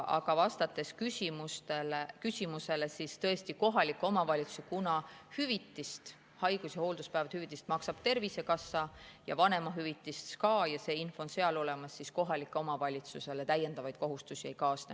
Aga vastates küsimusele: tõesti, kuna haigus‑ ja hoolduspäevahüvitist maksab Tervisekassa ja vanemahüvitist ka ja see info on seal olemas, siis kohalikele omavalitsustele täiendavaid kohustusi ei kaasne.